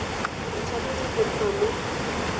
e tshwanetse go nna mo